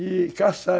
E caçar.